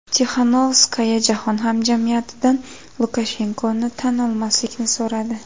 Tixanovskaya Jahon hamjamiyatidan Lukashenkoni tan olmaslikni so‘radi.